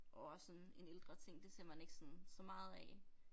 Og også sådan en ældre ting det ser man ikke sådan så meget af